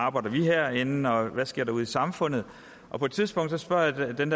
arbejder herinde og hvad der sker ude i samfundet og på et tidspunkt spørger jeg den